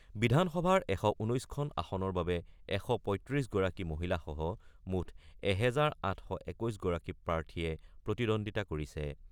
বিধানসভাৰ ১১৯খন আসনৰ বাবে ১৩৫গৰাকী মহিলাসহ মুঠ এহেজাৰ ৮২১গৰাকী প্ৰাৰ্থীয়ে প্ৰতিদ্বন্দ্বিতা কৰিছে।